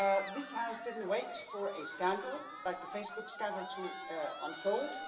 This House did not wait for a scandal like the Facebook scandal to unfold.